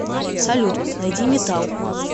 салют найди метал